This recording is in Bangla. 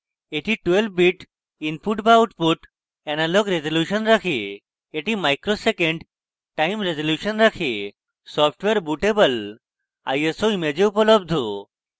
এটি 12 bit input/output analog রেজল্যূশন রাখে